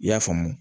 I y'a faamu